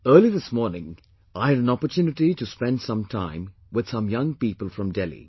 Early this morning, I had an opportunity to spend some time with some young people from Delhi